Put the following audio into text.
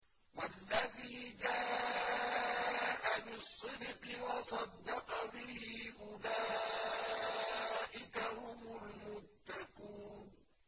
وَالَّذِي جَاءَ بِالصِّدْقِ وَصَدَّقَ بِهِ ۙ أُولَٰئِكَ هُمُ الْمُتَّقُونَ